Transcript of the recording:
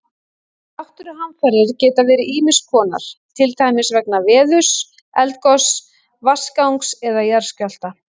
Náttúruhamfarir geta verið ýmis konar, til dæmis vegna veðurs, eldgoss, vatnagangs eða jarðskjálfta.